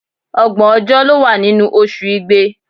Ọgbọ̀n ọjọ́ ló wà nínú oṣù Igbe.